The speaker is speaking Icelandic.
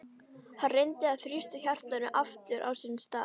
Hann reyndi að þrýsta hjartanu aftur á sinn stað.